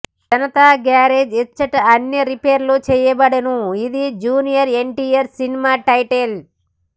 Janata garage ఇచ్చట అన్నీ రిపేర్లు చేయబడును ఇదీ జూనియర్ ఎన్టీఆర్ సినిమా టైటిల్